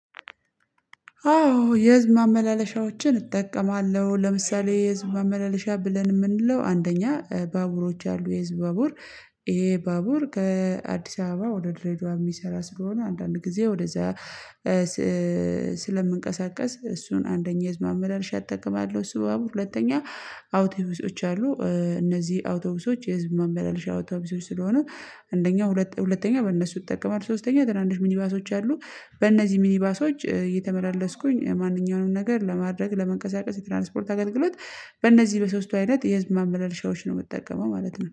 አዎ የህዝብ ማመላለሻዎችን እጠቀማለሁ። ለምሳሌ የህዝብ መመላለሻ ብለን የምንለው አንደኛ ባቡሮች አሉ የህዝብ ባቡር። ይሄ ባቡር ከአዲስ አበባ ወደ ድሬዳዋ የሚሰራ ስለሆነ አንዳንድ ጊዜ ወደዛ ስለምንቀሳቀስ እሱን አንደኛ የህዝብ ማመላለሻ እጠቀማለሁ። እሱ ባቡር ሁለተኛ አውቶብሶች አሉ። እነዚህ አውቶቡሶች የህዝብ ማመላለሻ አውቶቡሶች ስለሆነ አንደኛው ሁለተኛው በእነሱ እጠቀማለሁ ሶስተኛው ትናንሽ ሚኒባሶች አሉ። በእነዚህ ሚኒባሶች እየተመላለስኩኝ ማንኛውንም ነገር ለማድረግ ለመንቀሳቀስ የትራንስፖርት አገልግሎት በእነዚህ በሶስቱ አይነት የህዝብ ማመላለሻዎች ነው የምጠቀመው ማለት ነው